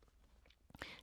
DR K